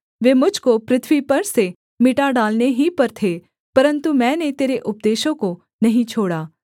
वे मुझ को पृथ्वी पर से मिटा डालने ही पर थे परन्तु मैंने तेरे उपदेशों को नहीं छोड़ा